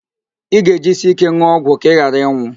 Ị ga-ejisi íké n̄ụọ ọgwụ gị ka ị ghara ịnwụ